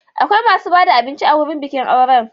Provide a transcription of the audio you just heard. Akwai masu ba da abinci a wurin bikin aure.